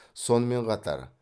сонымен қатар